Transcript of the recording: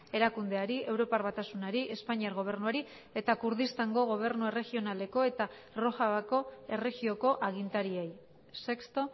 erakundeari europar batasunari espainiar gobernuari eta kurdistango gobernu erregionaleko eta rojavako erregioko agintariei sexto